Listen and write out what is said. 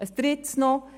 Ein Drittes noch